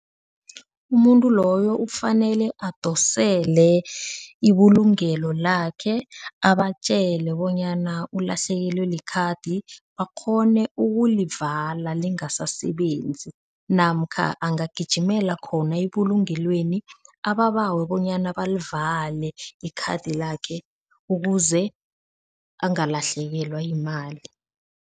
Umuntu loyo kufanele adosele ibulungelo lakhe, abatjele bonyana ulahlekelwe likhadi bakghone ukulivala lingasasebenzi namkha angagijimela khona ebulungelweni ababawe bonyana balivale ikhathi lakhe ukuze angalahlekelwa yimali.